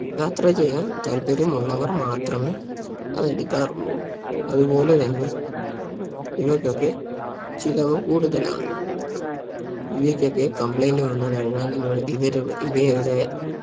യാത്ര ചെയ്യാൻ താൽപര്യം ഉള്ളവർ മാത്രമേ അത് എടുക്കാറുള്ളൂ അതുപോലെ തന്നെ ഇവയ്ക്കൊക്കെ ചിലവ് കൂടുതലാണ് ഇവയ്ക്കൊക്കെ complaint വന്ന് കഴിഞ്ഞാൽ ഇവ ഇവരു ഇവയുടെ